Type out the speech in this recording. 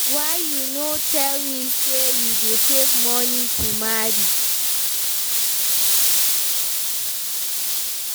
why you no tell me say you dey save money to marry.